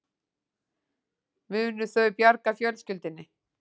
Munu þau bjarga fjölskyldunni